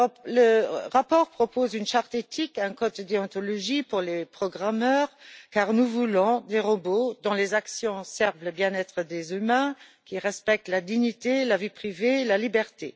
Le rapport propose une charte éthique, un code de déontologie pour les programmeurs, car nous voulons des robots dont les actions servent le bien être des humains et qui respectent la dignité, la vie privée et la liberté.